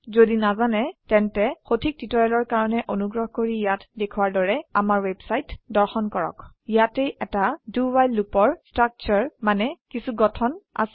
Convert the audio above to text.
যদি নাজানে তেন্তে সঠিক টিউটৰিয়েলৰ কাৰনে অনুগ্ৰহ কৰি ইয়াত দেখোৱাৰ দৰে আমাৰ ওৱেবচাইট দৰ্শন কৰক ইয়াতে এটা do ৱ্হাইল লুপৰ স্ট্ৰাকচাৰ আছে